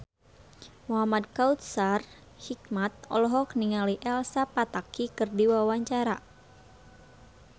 Muhamad Kautsar Hikmat olohok ningali Elsa Pataky keur diwawancara